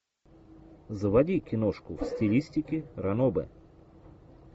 заводи киношку в стилистике ранобэ